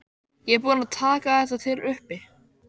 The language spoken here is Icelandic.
Ég er búin að taka þetta til uppi.